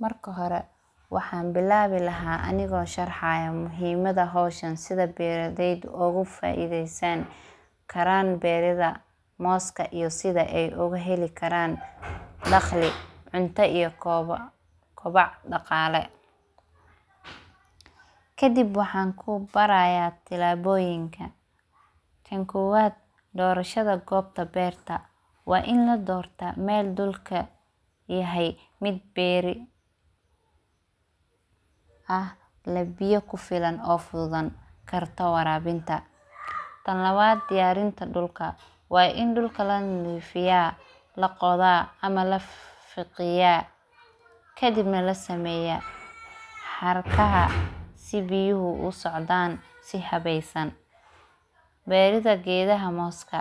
Marka hore waxaa bilaabi lahaa anigoo sharxaaya muhiimada howshan sida beeraleyda ugu faaideystaan karaan beeraha mooska iyo sida ay uga heli karaan daqli cuno iyo kobac dhaqaale kadib waxaan kubaraya tilaabooyinka. Tan koowaad doorashada dhanka beerta waa in la doorta meel dhulka yahay mid beeri ah leh biyo kufilan oo fududan oo gartoo waraabinta, tan labaad diyaarinta dhulka waa in dhula la nadiifiyaa la qodaa ama la fiqiyaa kadibna lasameeya xarkaha si biyuhu usocdaan si habeysan beerida geedaha mooska